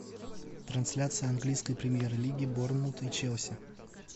трансляция английской премьер лиги борнмут и челси